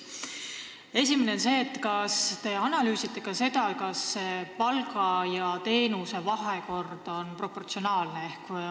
Esiteks, kas te analüüsite seda, kas palgad on osutatavate teenustega proportsioonis?